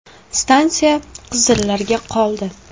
Stansiya qizillarga qoldi.